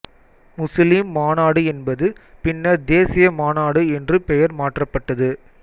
Muslim மாநாடு என்பது பின்னர் தேசிய மாநாடு என்று பெயர் மாற்றப்பட்டது